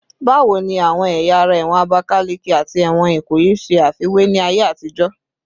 Bawo ni awọn ẹya ara ẹwọn Abakaleke ati ẹwọn Ikoyi ṣe afiwe ni aye atijo?